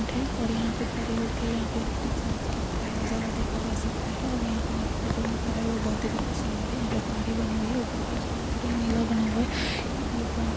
--और यहाँ पे खड़े होके यहाँ पे बीच नीचे का कोई नजारा देखा जा सकता है और यहाँ पे नहीं दिखा जो नजारा है वो बहुत ही ज्यादा सुन्दर है यहाँ पे पहाड़ी बनी हुई है ऊपर का आसमान पूरा नीला बना हुआ है ये व्यू पॉइंट --